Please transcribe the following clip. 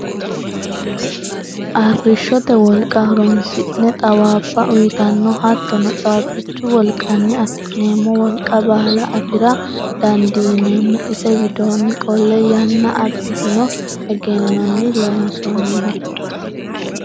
Arrishshote wolqa horonsidhe xawabba uyittano hattono caabbichu wolqanni affi'neemmo wolqa baalla afira dandiineemmo ise widooni qolle yanna abbitino egennoni loonsoniho.